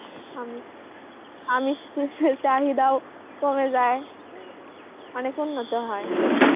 আমিষ আমিষ এর চাহিদা ও কমে যায়. অনেক উন্নত হয়